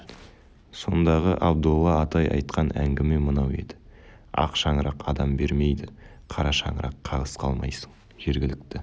сондағы абдолла атай айтқан әңгіме мынау еді ақ шаңырақ адам бермейді қара шаңырақ қағыс қалмайсың жергілікті